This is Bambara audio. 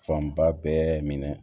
Fanba bɛɛ minɛ